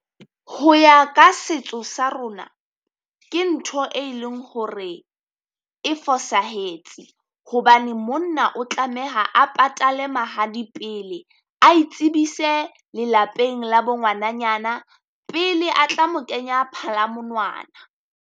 Ho ya ka setso sa rona, ke ntho e e leng hore e fosahetse, hobane monna o tlameha a patale mahadi pele. A itsebise lelapeng la bo ngwananyana pele a tla mo kenya phalamonwana.